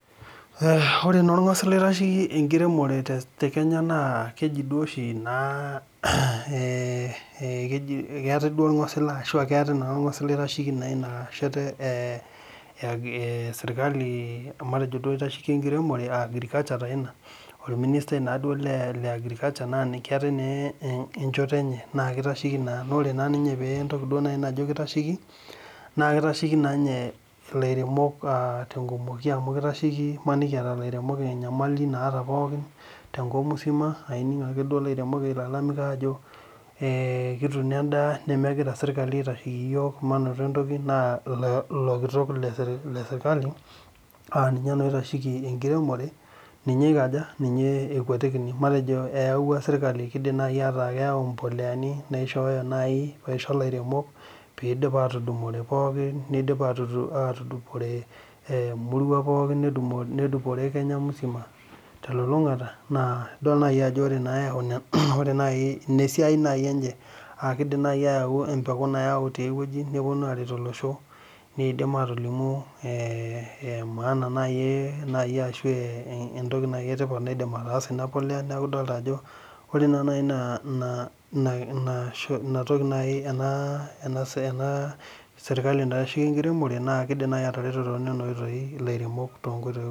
Ore naa orgolsila oshi oitasheki enkiremore tekneya na keji duo oshi naa ,keeta naa orgosila aitasheki inaalo esirkali ,matejo duo istasheki enkiremore orministai naa le agriculture naa keeta enaa enkoitoi enchoto enye naa kitasheki naa .Naa ore entoki naaji najo keitasheki, naa kitasheki naa ninye lairemok tenkumoki amu maniki eeta lairemok enyamali tenkop msima aa ining ake duo lairemok ilalamika ajo kituuno endaa nemegirae sirkali aitasheki yiok manoto entoki ,naa ilo kitok lesirkali aaninye naa oitasheki enkiremore ninye okaja ,ninye ekwetikini matejo ayaua sirkali keidim naaji ataa keyau mpoleani naishooyo naaji aisho lairemok pee eidim atudupore pookin ,neidim atudupore emurua pookin ,neisho nedupokore kenya msima telulungata naa idol naaji ajo ina esiai enye .Keidim naaji ayau empeku nayau tiae weji ,neponu aret olosho ,neidim atolimu maana ashu entoki naaji etipat eidim ataasa ina polea neeku idol ajo ore naaji ajo ore ena sirkali naitasheki enkiremore naa kidim naaji atareto toonina oitaoi lairemok.